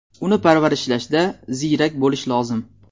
Uni parvarishlashda ziyrak bo‘lish lozim.